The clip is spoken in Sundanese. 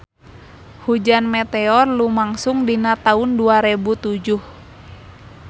Hujan meteor lumangsung dina taun dua rebu tujuh